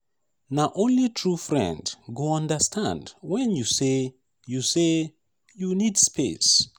na only true friend go understand wen you say you say you need space.